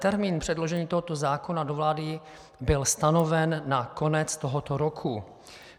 Termín předložení tohoto zákona do vlády byl stanoven na konec tohoto roku.